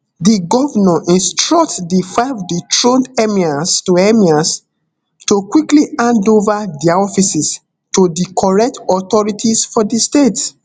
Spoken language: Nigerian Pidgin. di govnor instruct di five dethroned emirs to emirs to quickly hand ova dia offices to di correct authorities for di state